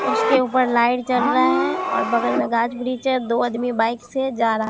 उसके ऊपर लाइट जल रहा है और बगल में गाछ-वृक्ष है दो अदमी बाइक से जा रहा --